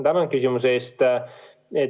Tänan küsimuse eest!